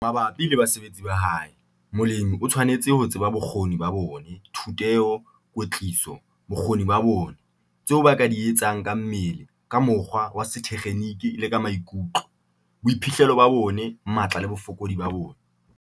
Mabapi le basebeletsi ba hae, molemi o tshwanetse ho tseba bokgoni ba bona, thuteho, kwetliso, bokgoni ba bona, tseo ba ka di etsang ka mmele, ka mokgwa wa sethekgenike le ka maikutlo, boiphihlelo ba bona, matla le bofokodi ba bona.